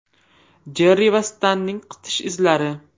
Jerri van Staning tish izlari.